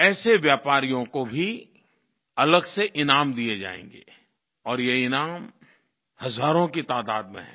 ऐसे व्यापारियों को भी अलग़ से ईनाम दिये जाएँगे और ये ईनाम हज़ारों की तादात में हैं